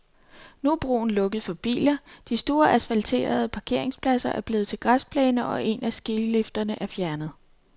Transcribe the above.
Nu er broen lukket for biler, den store asfalterede parkeringsplads er blevet til græsplæne, og en af skilifterne er fjernet.